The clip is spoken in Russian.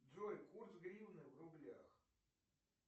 джой курс гривны в рублях